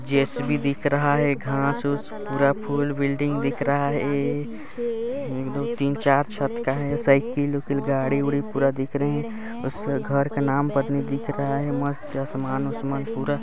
JCB दिख रहा है घास उस पूरा फुल बिल्डिंग दिख रहा है ए एक दो तीन चार छत का है साइकिल वाइकिल गाडी वाडी पुरा दिख रहा है उस घर का नाम पर नी दिख रहा है मस्त आसमान उस्मान पुरा--